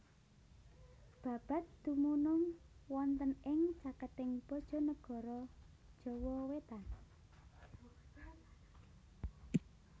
Babat dumunung wonten ing caketing Bojonegoro Jawa wetan